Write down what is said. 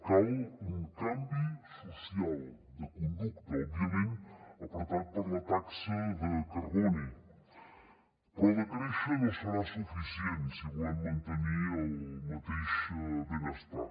cal un canvi social de conducta òbviament apretat per la taxa de carboni però decréixer no serà suficient si volem mantenir el mateix benestar